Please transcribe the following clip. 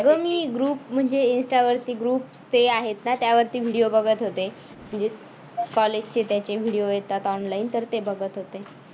अगं मी group म्हणजे insta वरती group ते आहेत ना त्यावरती video बघत होते. म्हणजेच college चे त्याचे video येतात online तर ते बघत होते.